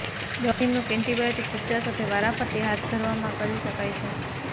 દવા નિમણૂક એન્ટીબાયોટીક ઉપચાર સાથે વારાફરતી હાથ ધરવામાં કરી શકાય છે